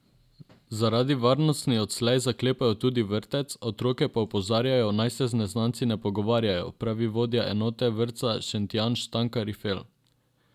Zaradi varnosti odslej zaklepajo tudi vrtec, otroke pa opozarjajo, naj se z neznanci ne pogovarjajo, pravi vodja enote vrtca Šentjanž Stanka Rifel.